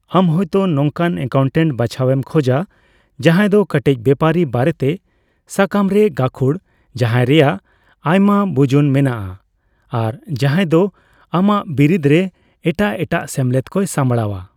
ᱟᱢ ᱦᱳᱭᱛᱳ ᱱᱚᱝᱠᱟᱱ ᱮᱠᱟᱣᱩᱱᱴᱟᱱᱴ ᱵᱟᱪᱷᱟᱣᱮᱢ ᱠᱷᱚᱡᱟ ᱡᱟᱦᱟᱫᱚ ᱠᱟᱹᱴᱤᱡ ᱵᱮᱯᱟᱨᱤ ᱵᱟᱨᱮᱛᱮ ᱥᱟᱠᱟᱢᱨᱮ ᱜᱟᱹᱠᱷᱩᱲ, ᱡᱟᱦᱟᱨᱮᱭᱟᱜ ᱟᱭᱢᱟ ᱵᱩᱡᱩᱱ ᱢᱮᱱᱟᱜᱼᱟ ᱾ᱟᱨ ᱡᱟᱦᱟᱭᱫᱚ ᱟᱢᱟᱜ ᱵᱤᱨᱤᱫ ᱨᱮ ᱮᱴᱟᱜ ᱮᱴᱟᱜ ᱥᱮᱢᱞᱮᱫ ᱠᱚᱭ ᱥᱟᱵᱲᱟᱣᱟ ᱾